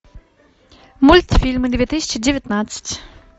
мультфильмы две тысячи девятнадцать